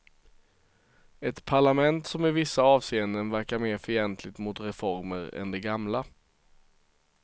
Ett parlament som i vissa avseenden verkar mer fientligt mot reformer än det gamla.